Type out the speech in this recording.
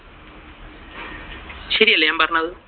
ശരിയല്ലേ ഞാൻ പറഞ്ഞത്?